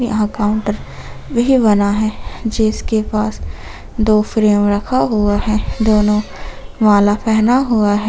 वहा कॉउंटर भी बना है जिसके पास दो फ्रेम रखा हुआ है दोनों माला पहना हुआ है।